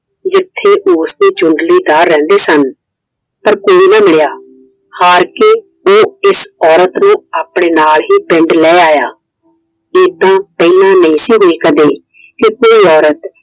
ਜਿੱਥੇ ਉਸਦੇ ਜੁੰਡਲੀਦਾਰ ਰਹਿੰਦੇ ਸਨ। ਪਰ ਕੋਈ ਨਾ ਮਿਲਿਆ। ਹਾਰ ਕੇ ਉਹ ਇਸ औरत ਨੂੰ ਆਪਣੇ ਨਾਲ ਹੀ ਪਿੰਡ ਲੈ ਆਇਆ। ਏਦਾਂ ਪਹਿਲਾ ਨਹੀਂ ਸੀ ਹੋਈ ਕਦੇ। ਕਿ ਕੋਈ औरत